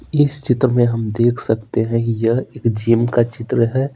इस चित्र में हम देख सकते हैं कि यह एक जिम का चित्र है।